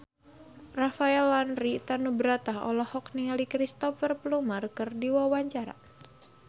Rafael Landry Tanubrata olohok ningali Cristhoper Plumer keur diwawancara